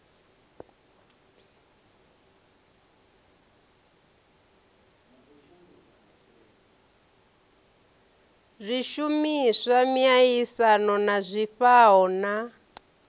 zwishumiswa miaisano na zwifhao na